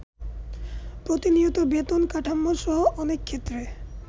প্রতিনিয়ত বেতন কাঠামো সহ অনেকক্ষেত্রে